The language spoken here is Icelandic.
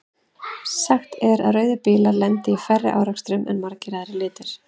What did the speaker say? Sagt er að rauðir bílar lendi í færri árekstrum en margir aðrir litir.